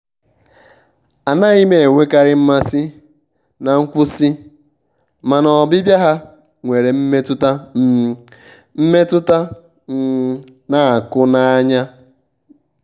anaghị m enwekarị mmasị na nkwụsị mana ọbịbịa ha nwere mmetụta um mmetụta um na-akụ n'anya. um